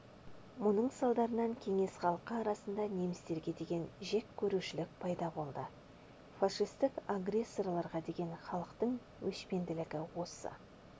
мұның салдарынан кеңес халқы арасында немістерге деген жеккөрушілік пайда болды фашистік агрессорларға деген халықтың өшпенділігі осы